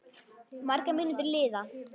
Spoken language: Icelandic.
Margar mínútur líða.